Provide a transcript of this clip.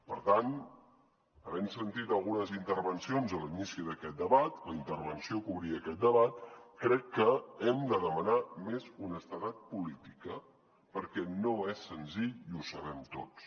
per tant havent sentit algunes intervencions a l’inici d’aquest debat la intervenció que obria aquest debat crec que hem de demanar més honestedat política perquè no és senzill i ho sabem tots